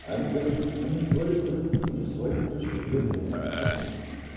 они короче у них своё у них своей точки зрения нету понял